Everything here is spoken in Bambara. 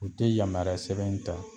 U te yamaruya sɛbɛn in ta